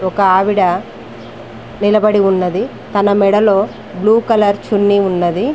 ఒక ఆవిడ నిలబడి ఉన్నది తన మెడలో బ్లూ కలర్ చున్నీ ఉన్నది.